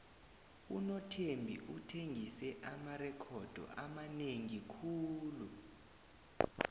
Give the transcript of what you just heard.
unothembi uthengise amarekhodo amanengi khulu